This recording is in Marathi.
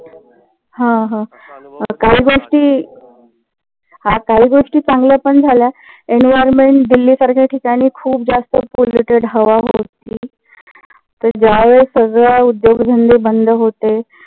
हा हा. काही गोष्टी हा काही गोष्टी चांगल्या पण झाल्या environment दिल्ली सारख्या ठिकाणी खूप जास्त poluted हवा होती. तर ज्यावेळेस सगळे उद्योगधंदे बंद होते.